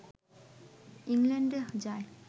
ইংলণ্ডে যায়